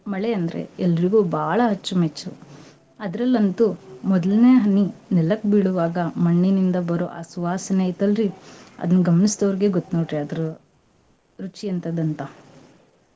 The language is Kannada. ಮಳೆ ಅಂದ್ರೆ ಎಲ್ರಿಗೂ ಬಾಳ ಅಚ್ಚು ಮೆಚ್ಚು. ಅದ್ರಲ್ಲಂತೂ ಮೊದಲ್ನೇ ಹನಿ ನೆಲಕ್ ಬೀಳೋವಾಗ ಮಣ್ಣಿನಿಂದ ಬರೋ ಆ ಸುವಾಸನೆ ಐತಲ್ರೀ ಅದನ್ ಗಮ್ನಸ್ದೋರ್ಗೇ ಗೊತ್ ನೋಡ್ರೀ ಅದ್ರ ರುಚಿ ಎಂತದ್ದು ಅಂತಾ.